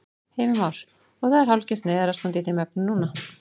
Heimir Már: Og það er hálfgert neyðarástand í þeim efnum núna?